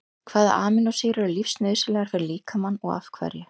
Hvaða amínósýrur eru lífsnauðsynlegar fyrir líkamann og af hverju?